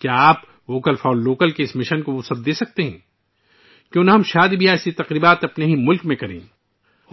کیا آپ ' vocal for local ' کے اس مشن کو آگے بڑھا سکتے ہیں؟ ہم اپنے ملک میں شادی کی ایسی تقریبات کیوں نہیں منعقد کرتے؟ ممکن